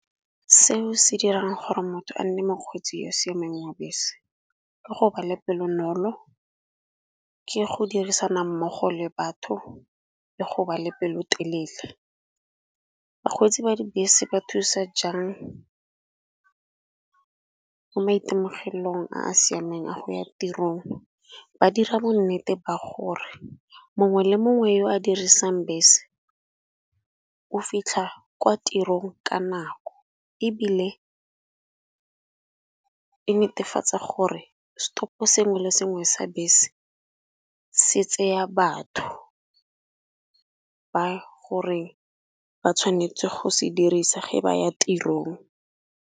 Seo se dirang gore motho a nne mokgweetsi yo o siameng ya bese. Ke go ba le pele bonolo ke go dirisana mmogo le batho le go ba le pelotelele. Bakgweetsi ba dibese ba thusa jang ka maitemogelong a a siameng a go ya tirong. Ba dira bonnete ba gore mongwe le mongwe yo a dirisang bese o fitlha kwa tirong ka nako, ebile e netefatsa gore stop sengwe le sengwe sa bese se tseya batho ba gore ba tshwanetse go se dirisa ge ba ya.